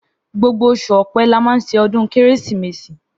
Gbogbo òsú ọpẹ là mà sẹ ọdún kẹrẹsímèsí